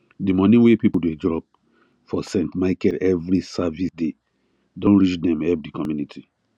the money wey people dey drop for st michael every service day don reach them help the community